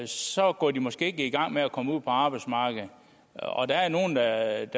så går de måske ikke i gang med at komme ud på arbejdsmarkedet og der er nogle der